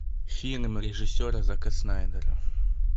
фильм режиссера зака снайдера